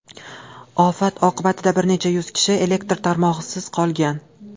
Ofat oqibatida bir necha yuz kishi elektr tarmog‘isiz qolgan.